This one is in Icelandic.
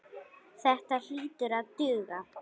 Þetta hlýtur að duga.